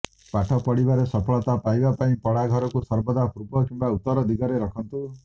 ପାଠ ପଢିବାରେ ସଫଳତା ପାଇବା ପାଇଁ ପଢାଘରକୁ ସର୍ବଦା ପୂର୍ବ କିମ୍ବା ଉତ୍ତର ଦିଗରେ ରଖନ୍ତୁ